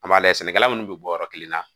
An b'a lajɛ sɛnɛkɛla munnu bɛ bɔ yɔrɔ kelen na